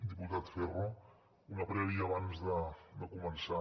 diputat ferro una prèvia abans de començar